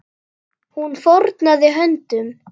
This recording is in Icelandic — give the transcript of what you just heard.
Hún fórnaði höndum.